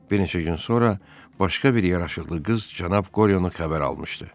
Bir neçə gün sonra başqa bir yaraşıqlı qız cənab Qoryonu xəbər almışdı.